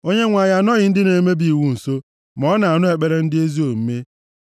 Onyenwe anyị anọghị ndị na-emebi iwu nso; ma ọ na-anụ ekpere ndị ezi omume.